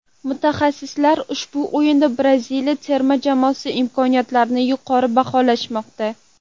Mutaxassislar ushbu o‘yinda Braziliya terma jamoasi imkoniyatlarini yuqori baholashmoqda.